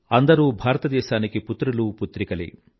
అందరూ భారతదేశానికి పుత్రులూ పుత్రికలే